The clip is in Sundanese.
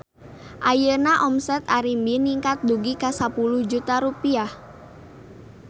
Ayeuna omset Arimbi ningkat dugi ka 10 juta rupiah